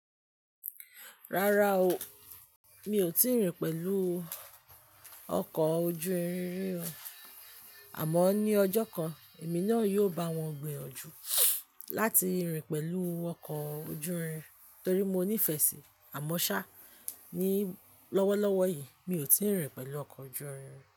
Rárá o, mi ò tíì rìn pẹ̀lú ọkọ̀ ojú irin rí. Àmọ́ ní ọjọ́ kan, èmi náà yóò bá wọn gbìyànjú láti rìn pẹ̀lú ọkọ̀ ojú irin torí mo nífẹ̀ẹ́ sì àmọ́ ṣá, ní lọ́wọ́lọ́wọ́ yìí mi ò tíì rìn pẹ̀lú ọkọ̀ ojú irin.